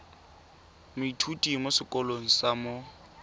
moithuti mo sekolong sa mo